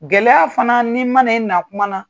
Gɛlɛya fana, ni ma na i kuma na.